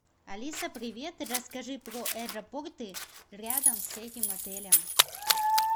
алиса привет расскажи про аэропорты рядом с этим отелем